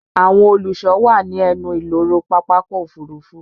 Àwọn olùsọ wà ní ẹnu ìloro Pápákọ̀ Òfurufú